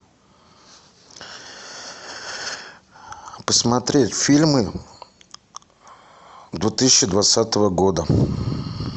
посмотреть фильмы две тысячи двадцатого года